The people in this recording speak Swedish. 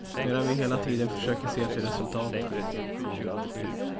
Medan vi hela tiden försöker se till resultaten.